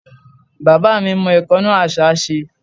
Bàbá mi mọ ìkánná àṣá ṣe.